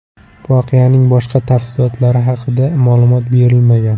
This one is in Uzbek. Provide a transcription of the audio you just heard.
Voqeaning boshqa tafsilotlari haqida ma’lumot berilmagan.